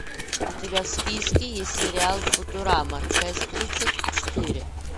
у тебя в списке есть сериал футурама часть тридцать четыре